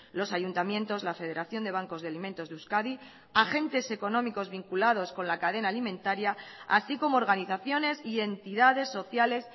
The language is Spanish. los ayuntamientos la federación de bancos de alimentos de euskadi agentes económicos vinculados con la cadena alimentaria así como organizaciones y entidades sociales